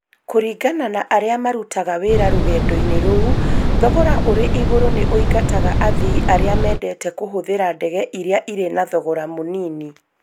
Kũringana na arĩa marutaga wĩra rũgendo-inĩ rũu, thogora ũrĩ igũrũ nĩ oingataga athii. Arĩa mendete kũhũthĩra ndege iria irĩ na thogora mũnini.